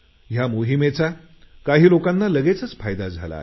या मोहिमेचा काही लोकांना लगेच फायदा झाला